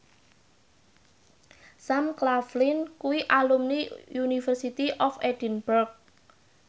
Sam Claflin kuwi alumni University of Edinburgh